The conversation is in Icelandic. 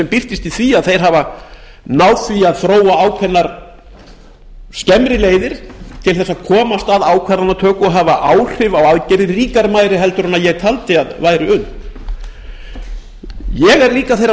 sem birtist í því að þeir hafa náð því að þróa ákveðnar skemmri leiðir til þess að koma af stað ákvarðanatöku og hafa áhrif á aðgerðir í ríkari mæli en ég taldi að væri unnt ég er líka þeirrar